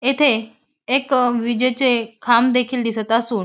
येथे एक विजेचे खांब देखील दिसत असून--